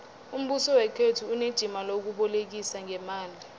umbuso wekhethu unejima lokubolekisa ngeemali